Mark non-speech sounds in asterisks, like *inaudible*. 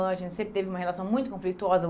*unintelligible* A gente sempre teve uma relação muito conflituosa.